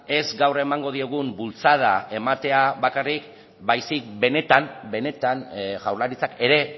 ez gaur emango diogun bultzada ematea bakarrik baizik benetan jaurlaritzak ere